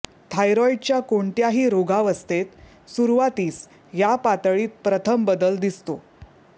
थायरॉइडच्या कोणत्याही रोगावस्थेत सुरवातीस या पातळीत प्रथम बदल दिसतो